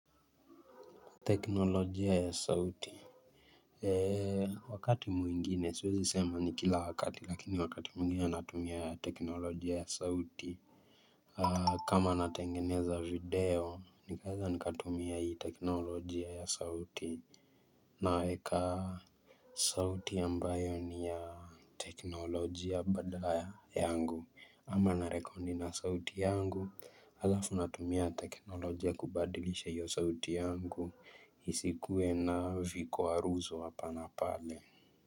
Teknolojia ya sauti? Eee wakati mwingine siwezi sema ni kila wakati lakini wakati mwingine natumia ya teknolojia ya sauti kama natengeneza video nikeaza nikatumia hii teknolojia ya sauti naweka sauti ambayo ni ya teknolojia badala ya yangu ama narekodi na sauti yangu halafu natumia teknolojia kubadilisha hiyo sauti yangu isikuwe na vikwaruzo hapa na pale.